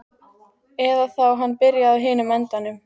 Eða þá hann byrjaði á hinum endanum.